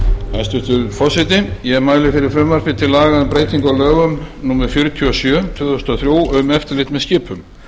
hæstvirtur forseti ég mæli fyrir frumvarpi til laga um breytingu á lögum númer fjörutíu og sjö tvö þúsund og þrjú um eftirlit með skipum